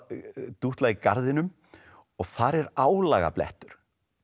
dútla í garðinum og þar er álagablettur